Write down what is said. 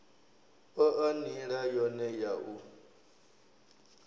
oa nila yone ya u